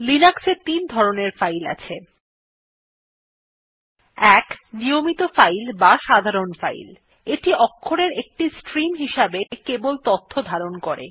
লিনাক্সে তিন ধরনের ফাইল আছে160 ১ নিয়মিত ফাইল অথবা সাধারণ ফাইল এইটি অক্ষরের একটি স্ট্রীম হিসেবে কেবল তথ্য ধারণ করে